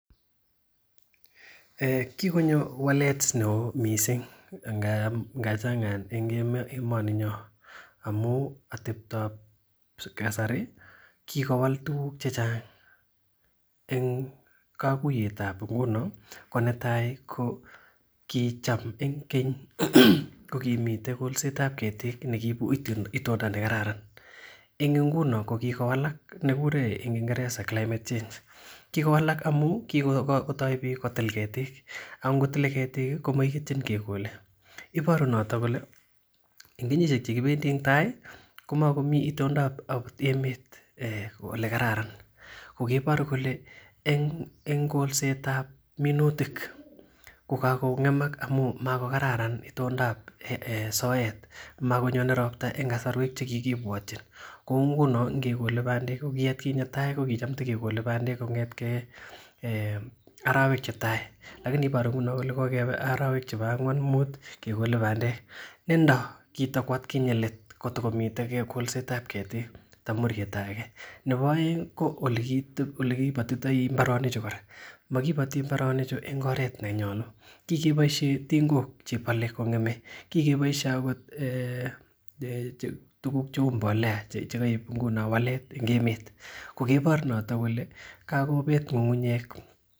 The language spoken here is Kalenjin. Kikonyo walet neo mising eng emoninyo amu ateptoab kasari kikowal tukuk chechang eng kakuyetab nguno ko netai ko kicham eng keny ko kimitei kolsetab ketik nekiibu itonda nekararan eng nguno ko kikowalak kikure eng kingeresa climate change kikowalak amu kikotoi piik kotil ketik akongotilei ketik komaiityin ketik chekolei iboru noto kole eng kenyishek chekibendi eng tai komakomi itondaab emet ole kararan kokeibor kole eng kolsetab minutik kokakong'emak amun makokaran itondaab soet makonyoonei ropta eng kasarwek chekikipwotchin kou nguno ngekolei bandek ko kiatkinye tai ko kicham tikekolei bandek kong'etkei arowek chetai lakini iboru nguno kole kokebe arowek chebo ang'wan mut kekole bandek endo kitiko atkinye let kitikomitei kolsetab ketik tamuryetai nebo oeng ko olekibatitoi mbarenichu kora makibati mbarenichu eng oret nenyolu kikeboishe tingok chebolei kong'emei kikeboishe akot tukuk cheu mbolea chekaib nguno wallet eng emet ko kebor noto kole kakobeet ng'ung'unyek